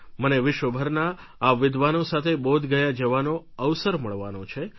મને વિશ્વભરના આ વિદ્વાનો સાથે બોધગયા જવાનો અવસર મળવાનો છે